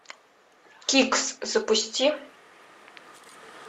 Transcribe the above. кикс запусти